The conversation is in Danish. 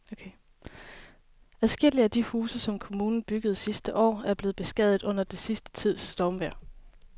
Adskillige af de huse, som kommunen byggede sidste år, er blevet beskadiget under den sidste tids stormvejr.